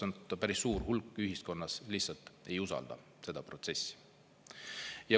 Päris suur hulk ühiskonnas lihtsalt ei usalda seda protsessi.